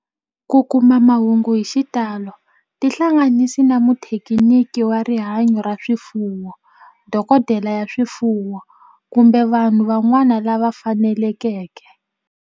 Ku kuma mahungu hi xitalo tihlanganisi na muthekiniki wa rihanyo ra swifuwo, dokodela ya swifuwo, kumbe vanhu van'wana lava fanelekeke